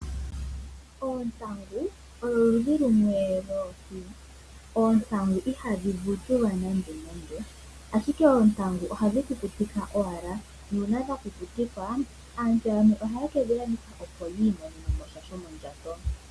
Oontangu odho oludhi lumwe lwoohi. Oontangu ihadhi vutulwa nande, ashike ohadhi kukutikwa owala. Uuna dha kukutikwa aantu yamwe ohaye ke dhi landitha po, opo yi imonene mo sha shomondjato.